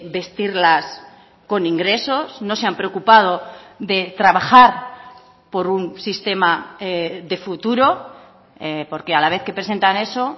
vestirlas con ingresos no se han preocupado de trabajar por un sistema de futuro porque a la vez que presentan eso